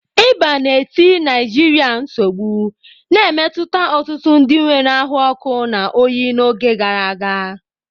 Ịba na-eti Naijiria nsogbu, na-emetụta ọtụtụ ndị nwere ahụ ọkụ na oyi n'oge gara aga.